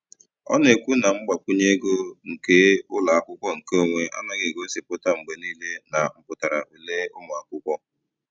Ọ na-ekwu na mgbakwunye ego nke ụlọakwụkwọ nke onwe anaghị egosipụta mgbe niile na mpụtara ule ụmụakwụkwọ.